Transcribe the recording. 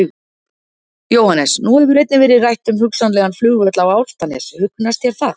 Jóhannes: Nú hefur einnig verið rætt um hugsanlegan flugvöll á Álftanes, hugnast það þér?